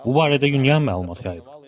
Bu barədə UNIAN məlumat yayıb.